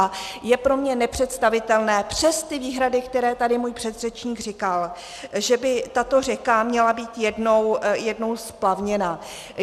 A je pro mě nepředstavitelné přes ty výhrady, které tady můj předřečník říkal, že by tato řeka měla být jednou splavněna.